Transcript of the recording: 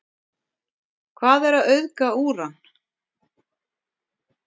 hvað er að auðga úran